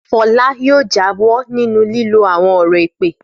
Fọlá yóò jáwọ́ nínú lílo àwọn ọ̀rọ̀ èpè!